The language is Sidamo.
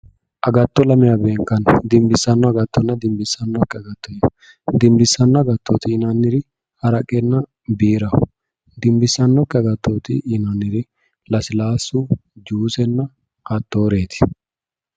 Agatto lamewa beenkanni. Dimbissanno agattonna dimbissannokki agatto yine. Dimbissanno agatto yinanniri haraqenna biiraho. Dimbissannokki agatto yinanniri lasilaassu juusenna hattooreeti.